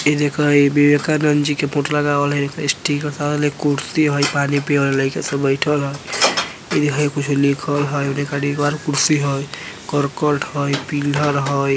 इ देखा इ विवेकानंद जी के फोटो लगावल हई कुर्सी हई पानी पिए ला लइका सब बइठल हई इ देखा इ कुछो लिखल हई कुर्सी हई करकट हई पिहलर हई।